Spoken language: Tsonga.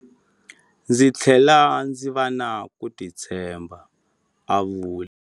Ndzi tlhele ndzi va na ku titshemba, a vula.